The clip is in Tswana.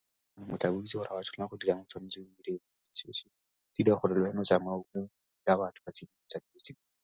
O tla itse gore ga o a tshwanela go dira eng, tshwanetswe o dire tse di gore le wena o tsamaye ka batho ba .